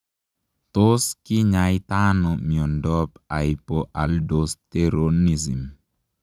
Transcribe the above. Tos kinyaitaa anoo miondoop haipoaldosteronism?